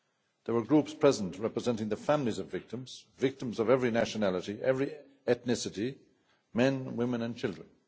There were groups present representing the families of victims, victims of every nationality and every ethnicity, men, women and children.